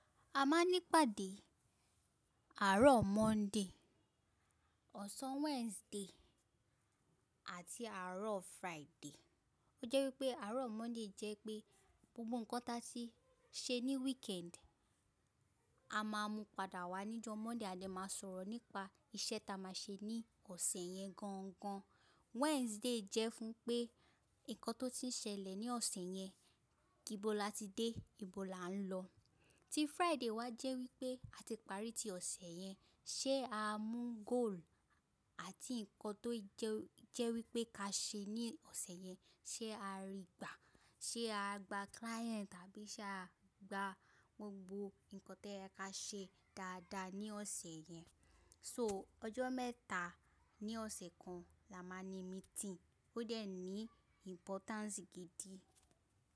A máa ń nípàdé àárọ̀ Monde, ọ̀sán Weside àti àárọ̀ Furaide Ó jẹ́ wípé àárọ̀ Monde jẹ́ pé gbogbo ǹkan ta ti ṣe ní wikendi, a máa mú padà wá níjọ́ Monde à de máa sọ̀rọ̀ nípa iṣẹ́ ta máa ṣe ní ọ̀sẹ̀ yẹn gangan. Weside jẹ́ fún pé ǹkan tó ti ń ṣẹlẹ̀ ní ọ̀sẹ̀ yẹn, tíbo lati dé, ìbo la ń lọ. Tí Furaide wá jẹ́ wípé a ti parí ti ọ̀sẹ̀ yẹn, ṣé a mú goolu àti ǹkan tó jẹ́ wípé ká ṣe ní ọ̀sẹ̀ yẹn ṣé a ri gbà? Ṣé a gba kilaenti tàbí ṣé a gba gbogbo ǹkan to yẹ ka ṣe dáadáa ní ọ̀sẹ̀ yẹn? So ọjọ́ mẹ́ta ní ọ̀sẹ̀ kan la máa ń ní mintinni, ó dẹ̀ ní impotanci gidi.